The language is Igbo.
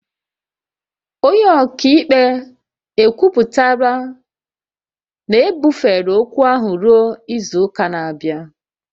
Onye ọka ikpe ekwupụtala na ebufere ókwú ahụ ruo izu ụka na-abịa